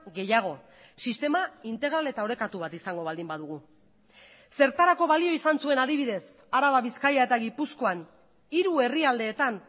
gehiago sistema integral eta orekatu bat izango baldin badugu zertarako balio izan zuen adibidez araba bizkaia eta gipuzkoan hiru herrialdeetan